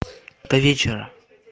до вечера